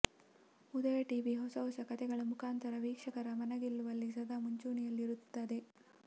ಉದಯ TV ಹೊಸ ಹೊಸ ಕಥೆಗಳ ಮುಖಾಂತರ ವೀಕ್ಷಕರ ಮನಗೆಲ್ಲುವಲ್ಲಿ ಸದಾ ಮುಂಚೂಣಿಯಲ್ಲಿರುತ್ತದೆ